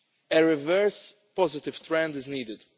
release. A reverse positive trend is